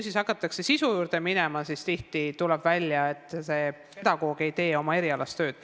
" Kui hakatakse sisu vaatama, siis tuleb tihti välja, et see pedagoog ei tee oma erialast tööd.